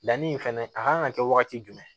La ni fɛnɛ a kan ka kɛ wagati jumɛn